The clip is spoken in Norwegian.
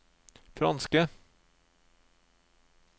franske